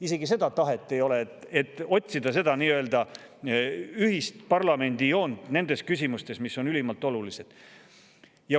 Ei ole isegi tahet otsida parlamendis ühist joont nendes küsimustes, mis on ülimalt olulised.